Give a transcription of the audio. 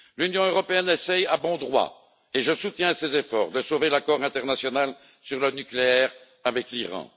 L'Union européenne essaie, à bon droit et je soutiens ses efforts de sauver l'accord international sur le nucléaire avec l'Iran.